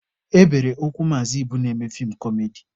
E bere ụkwụ Maazị Ibu na-eme feem kọmedi.